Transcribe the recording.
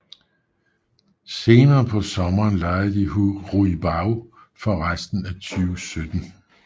Senere på sommeren lejede de Hu Ruibao for resten af 2017